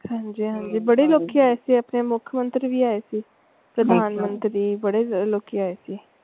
ਹਾਂਜੀ ਹਾਂਜੀ ਬੜੇ ਲੋਕੀ ਆਏ ਸੀ ਓਥੇ ਮੁੱਖਮੰਤਰੀ ਵੀ ਆਏ ਸੀ, ਪ੍ਰਧਾਨਮੰਤਰੀ ਤੇ ਬੜੇ ਲੋਕੀ ਆਏ ਸੀ।